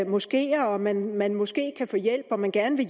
måskeer at man man måske kan få hjælp at man gerne vil